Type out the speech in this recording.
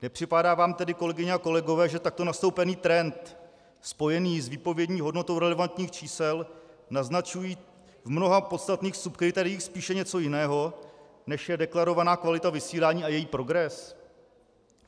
Nepřipadá vám tedy, kolegyně a kolegové, že takto nastoupený trend spojený s výpovědní hodnotou relevantních čísel naznačuje v mnoha podstatných kritériích spíše něco jiného, než je deklarovaná kvalita vysílání a její progres?